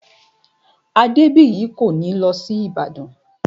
Adébìyí kò ní lọ sí Ìbàdàn